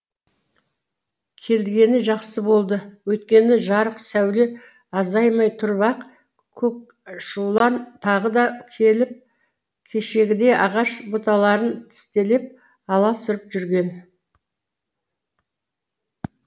келгені жақсы болды өйткені жарық сәуле азаймай тұрып ақ көкшулан тағы да келіп кешегідей ағаш бұталарын тістелеп аласұрып жүрген